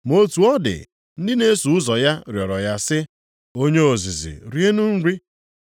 Ma otu ọ dị, ndị na-eso ụzọ ya rịọrọ ya sị, “Onye ozizi rienụ nri.”